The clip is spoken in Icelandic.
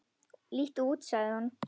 Líttu út sagði hann.